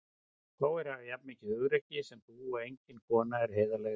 Fáir hafa jafn mikið hugrekki sem þú og engin kona er heiðarlegri.